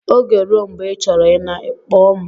Oge rue mgbe ị chọrọ ịna, akpọ m